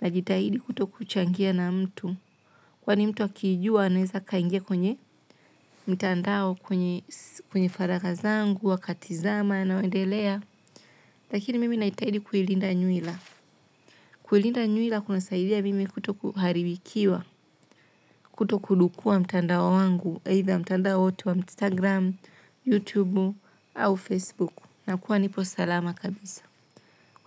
Najitahidi kutokuchangia na mtu. Kwani mtu akiijua. Anaweza akaingia kwenye mtandao kwenye kwenye faragha zangu wakatizama yanayoendelea. Lakini mimi naitahidi kuilinda nywila. Kuilinda nywila kunasaidia mimi kutokuharibikiwa. Kuto kudukua mtandao wangu. Either mtandao wote wa Instagram, youtube, au facebook. Nakuwa nipo salama kabisa.